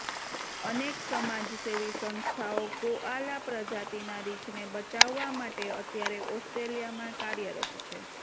અનેક સમાજસેવી સંસ્થાઓ કોઆલા પ્રજાતિના રીંછને બચાવવા માટે અત્યારે ઓસ્ટ્રેલિયામાં કાર્યરત છે